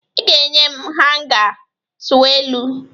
Ị ga-enye m hanga tọweelụ!